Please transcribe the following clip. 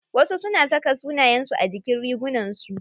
Wasu suna saka sunayen su a jikin rigunar su.